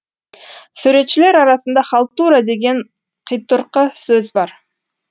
суретшілер арасында халтура деген қитұрқы сөз бар